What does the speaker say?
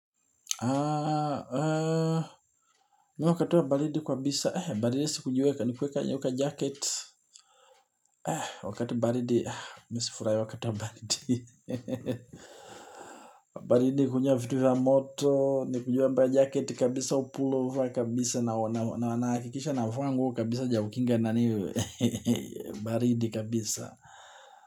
Aaa aaa. Mi wakati wa baridi kwabisa baridi kwenye kwenye kwenye uka jaket aaa wakati baridi mi sifurahi wakatiwa baridi hehehehe baridi kunywa vitu vya moto ni kuvaa jacket kabisa au pullover kabisa na na hakikisha navaa nguo kabisa ju ya kukinga nani hehehehe baridi kabisa.